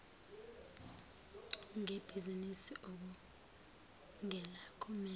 ngebhizinisi okungelakho mema